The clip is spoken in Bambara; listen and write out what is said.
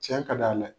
Cɛn ka d'a ye